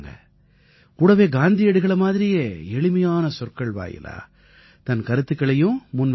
கூடவே காந்தியடிகளை மாதிரியே எளிமையான சொற்கள் வாயிலா தன் கருத்துக்களையும் முன்வைக்கறாங்க